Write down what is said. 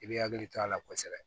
I bɛ hakili to a la kosɛbɛ